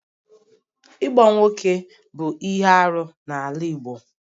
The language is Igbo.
Ịgba nwoke bụ ihe arụ n'ala Igbo